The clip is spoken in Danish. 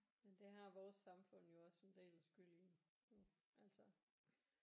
Men det har vores samfund jo også en del skyld i jo altså